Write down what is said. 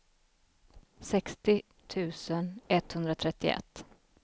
sextio tusen etthundratrettioett